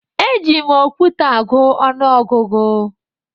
Eji m okwute agụ ọnụọgụgụ